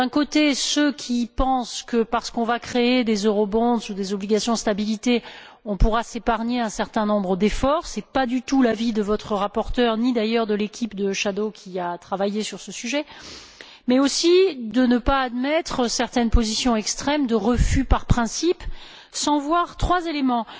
Il y a ceux qui pensent que, parce qu'on va créer des ou des obligations de stabilité, on pourra s'épargner un certain nombre d'efforts ce n'est pas du tout l'avis de votre rapporteur ni, d'ailleurs, de l'équipe de rapporteurs fictifs qui a travaillé sur ce sujet mais aussi de ne pas admettre certaines positions extrêmes de refus, par principe, sans voir trois éléments.